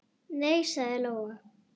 Nei, sagði Lóa.